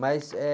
Mas é...